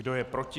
Kdo je proti?